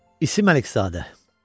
İsim Əlizadə.